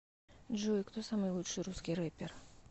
джой кто самый лучший русский рэпер